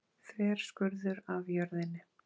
Þverskurður af jörðinni.